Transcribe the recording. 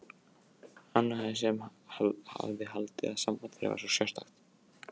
Hann sem hafði haldið að samband þeirra væri svo sérstakt.